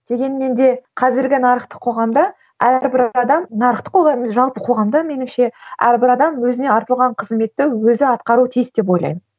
дегенмен де қазіргі нарықтық қоғамда әрбір адам нарықтық қоғам емес жалпы қоғамда меніңше әрбір адам өзіне артылған қызметті өзі атқару тиіс деп ойлаймын